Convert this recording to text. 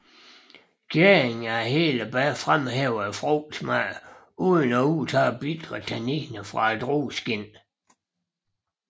Gæringen af hele bær fremhæver frugtsmag uden at udtage bitre tanniner fra drueskindet